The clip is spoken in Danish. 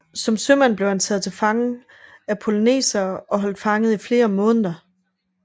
Som sømand blev han taget til fange af polynesere og holdt fanget i flere måneder